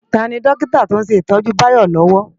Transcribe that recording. Táni Dòkitá tó n sé itòjú Bayo lòwò?